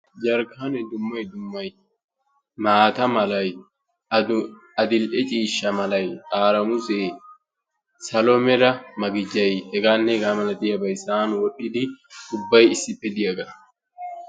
Jarkkane dummay dummay maata mala, addli"e ciishsha malay, xaaramusse, salo mala magijjay, heganne hegaa malatiyaabay sa'aan wodhdhidi ubbay issippe diyaaga.